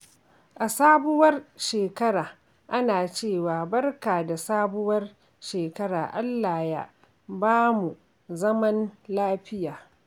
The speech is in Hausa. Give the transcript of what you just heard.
A sabuwar shekara, ana cewa “Barka da sabuwar shekara, Allah ya bamuzaman lafiya!”